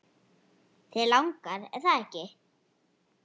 Þig langar, er það ekki?